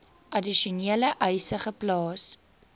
addisionele eise geplaas